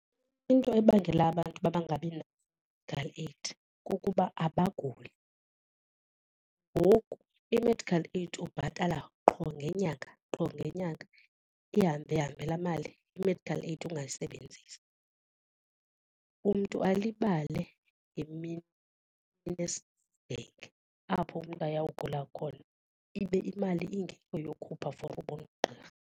Into ebangela abantu uba bangabi na-medical aid kukuba abaguli ngoku i-medical aid ubhatala qho ngenyanga qho ngenyanga ihambe ihambe laa mali i-medical aid ungayisebenzisi. Umntu alibale ngemini apho umntu aya kugula khona ibe imali ingekho yokhupha for ubona ugqirha.